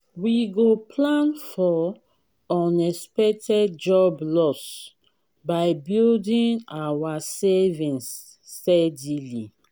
we go plan for unexpected job loss by building our savings steadily.